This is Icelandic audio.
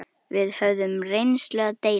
Við höfðum reynslu að deila.